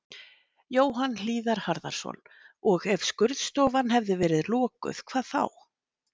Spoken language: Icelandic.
Jóhann Hlíðar Harðarson: Og ef skurðstofan hefði verið lokuð, hvað þá?